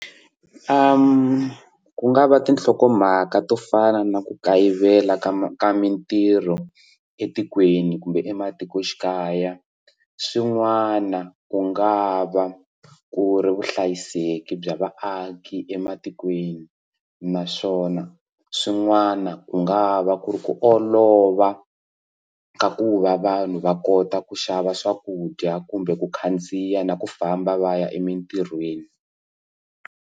ku nga va tinhlokomhaka to fana na ku kayivela ka ka mitirho etikweni kumbe ematikoxikaya swin'wana ku nga va ku ri vuhlayiseki bya vaaki ematikweni naswona swin'wana ku nga va ku ri ku olova ka ku va vanhu va kota ku xava swakudya kumbe ku khandziya na ku famba va ya emitirhweni.